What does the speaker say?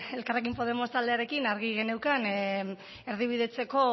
elkarrekin podemos taldearekin argi geneukan erdibidetzeko